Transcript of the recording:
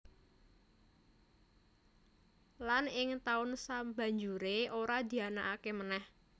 Lan ing taun sabanjuré ora dianakaké manèh